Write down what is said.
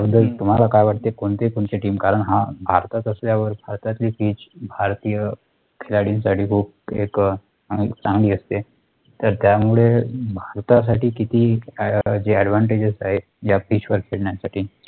तर तुम्हाला काय वाटतंय, कोणती तुमची TEAM, कारण हा भारतात असल्यावर, भारतातील PITCH भारतीय खेळाडूंसाठी खूप एक चांगली असते तर त्यामुळे भारतासाठी किती जे ADVANTAGES आहे, या PITCH वर खेळण्यासाठी